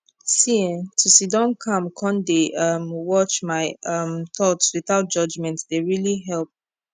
see eeh to siddon calm con dey um watch my um thoughts without judgment dey really help